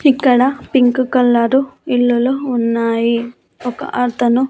ఇక్కడ pink colour ఇల్లులు ఉన్నాయి ఒక అతను.